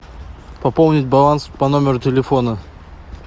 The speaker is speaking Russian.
пополнить баланс по номеру телефона